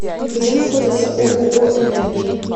где находится ооо энергия